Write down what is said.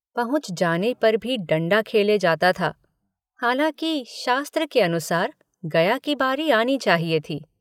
पहुँच जाने पर भी डण्डा खेले जाता था हालाँकि शास्त्र के अनुसार गया की बारी आनी चाहिए थी।